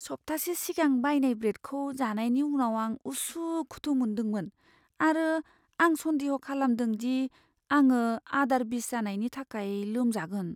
सप्तासे सिगां बायनाय ब्रेडखौ जानायनि उनाव आं उसुखुथु मोन्दोंमोन आरो आं सनदेह' खालामदों दि आंङो आदार बिस जानायनि थाखाय लोमजागोन।